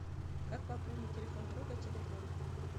как пополнить телефон друга теле два